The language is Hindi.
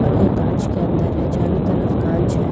और वो कांच के अंदर है चारों तरफ कांच है।